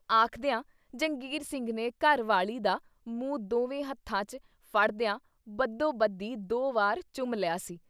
ਆਖਦਿਆਂ ਜੰਗੀਰ ਸਿੰਘ ਨੇ ਘਰ ਵਾਲੀ ਦਾ ਮੂੰਹ ਦੋਵੇਂ ਹੱਥਾਂ 'ਚ ਫੜਦਿਆਂ ਬਦੋ-ਬਦੀ ਦੋ ਵਾਰ ਚੁੰਮ ਲਿਆ ਸੀ।